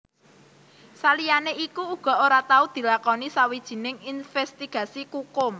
Saliyané iku uga ora tau dilakoni sawijining invèstigasi kukum